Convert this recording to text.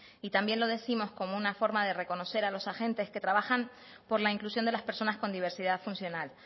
y también lo décimos como una forma de reconocer a los agentes que trabajan por la inclusión de las personas con diversidad funcional